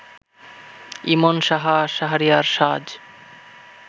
ইমন সাহা, শাহরিয়ার সাজ